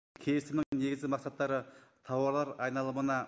келісімнің негізгі мақсаттары тауарлар айналымына